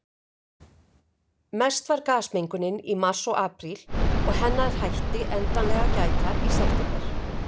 Mest var gasmengunin í mars og apríl, og hennar hætti endanlega að gæta í september.